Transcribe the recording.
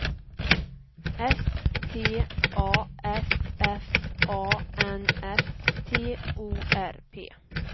S T A F F A N S T O R P